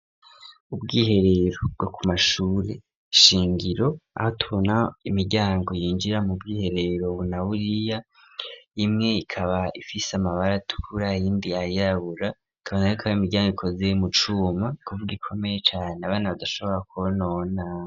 Ubwiherero bwo ku mashure shingiro aho tonaho imiryango yinjira mu bwihereero bunawuriya imwe ikaba ifise amabari atukura ayindi yayabura akabana yokaba imiryango ikozeyo mu cuma kuvuwo gikomeye cane abana badashobora kubonona.